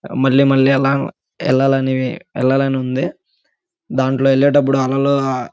మళ్లీ మళ్లీ ఎల్లా ఎల్లాలనివి ఎల్లలనుంది. దాంట్లో వెళ్లేటప్పుడు అలలు--